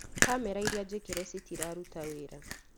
Kamera iria njĩkĩre citiraruta wĩra